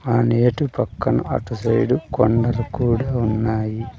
అనేటు పక్కన అటు సైడు కొండలు కూడా ఉన్నాయి.